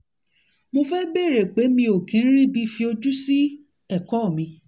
mo fẹ́ bèèrè pé mi ò kí ń ríbi kí ń ríbi fojú sí ẹ̀kọ́ mi